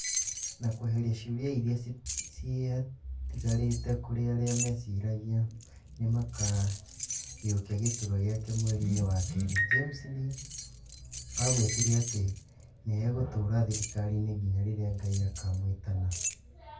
Na kweheria ciũria iria ciatigarĩte kũrĩ arĩa meciragia nĩmakaiyokia gĩturuz gĩake mweri-inĩ wa kerĩ , James nĩ aagwetire atĩ nĩ egũtũũra thirikari-inĩ nginya rĩrĩa Ngai akamwĩtana.